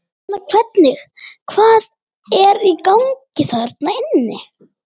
Hérna hvernig, hvað er í gangi þarna inni?